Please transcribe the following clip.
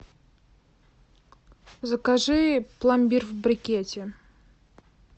закажи пломбир в брикете